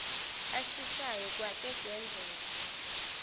ashisayo kwake kwenzeka